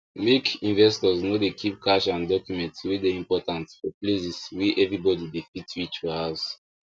make investors no dey keep cash and document wey dey important for places wey everybody dey fit reeach for house